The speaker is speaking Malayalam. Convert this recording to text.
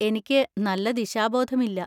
എനിക്ക് നല്ല ദിശാബോധമില്ല.